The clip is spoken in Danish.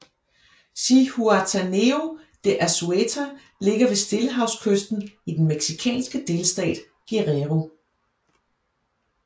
Zihuatanejo de Azueta ligger ved stillehavskysten i den mexicanske delstat Guerrero